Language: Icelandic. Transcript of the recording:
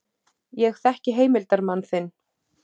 Ég þekki heimildarmann þinn.